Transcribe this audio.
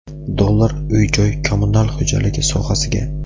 dollar uy-joy kommunal xo‘jaligi sohasiga.